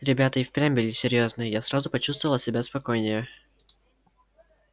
ребята и впрямь были серьёзные я сразу почувствовал себя спокойнее